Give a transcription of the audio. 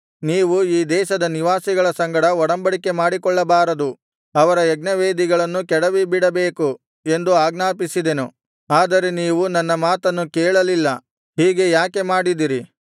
ನೀವು ಈ ದೇಶದ ನಿವಾಸಿಗಳ ಸಂಗಡ ಒಡಂಬಡಿಕೆ ಮಾಡಿಕೊಳ್ಳಬಾರದು ಅವರ ಯಜ್ಞವೇದಿಗಳನ್ನು ಕೆಡವಿಬಿಡಬೇಕು ಎಂದು ಆಜ್ಞಾಪಿಸಿದೆನು ಆದರೆ ನೀವು ನನ್ನ ಮಾತನ್ನು ಕೇಳಲಿಲ್ಲ ಹೀಗೆ ಯಾಕೆ ಮಾಡಿದಿರಿ